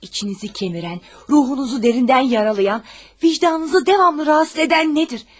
İçinizi kəmirən, ruhunuzu dərindən yaralayan, vicdanınızı davamlı narahat edən nədir?